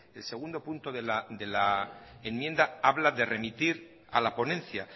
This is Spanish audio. el segundo punto de la enmienda habla de remitir a la ponencia